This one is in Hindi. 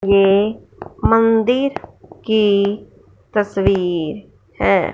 ये मंदिर की तस्वीर है।